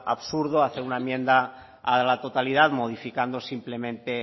absurdo hacer una enmienda a la totalidad modificando simplemente